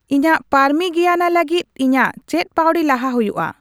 ᱤᱪᱟᱹᱜ ᱯᱟᱨᱢᱤᱜᱤᱭᱟᱱᱟ ᱞᱟᱹᱜᱤᱫ ᱤᱧᱟᱜ ᱪᱮᱫ ᱯᱟᱹᱣᱲᱤ ᱞᱟᱦᱟ ᱦᱩᱭᱩᱜᱼᱟ